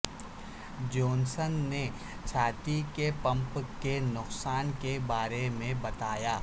جوسنسن نے چھاتی کے پمپ کے نقصان کے بارے میں بتایا